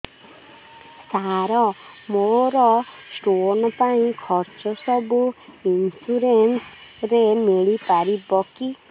ସାର ମୋର ସ୍ଟୋନ ପାଇଁ ଖର୍ଚ୍ଚ ସବୁ ଇନ୍ସୁରେନ୍ସ ରେ ମିଳି ପାରିବ କି